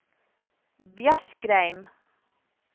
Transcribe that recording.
Bjerkreim